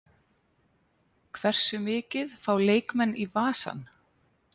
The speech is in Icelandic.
Hversu mikið fá leikmenn í vasann?